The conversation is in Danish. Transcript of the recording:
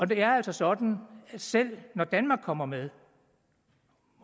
det er altså sådan at selv når danmark kommer med